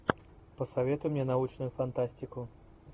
посоветуй мне научную фантастику